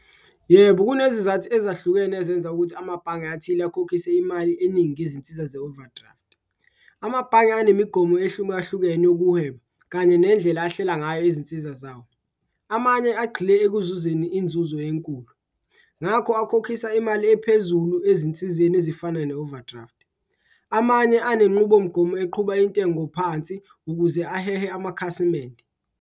Yebo, kunezizathu ezahlukene ezenza ukuthi amabhange athile akhokhise imali eningi izinsiza ze-overdraft, amabhange anemigomo ehlumahlukene okuhweba kanye nendlela ahlela ngayo izinsiza zawo. Amanye agxile ekuzuzeni inzuzo enkulu, ngakho akukhokhisa imali ephezulu ezinsizeni ezifana ne-overdraft, amanye enenqubomgomo eqhuba intengo phansi ukuze ahehe amakhasimende.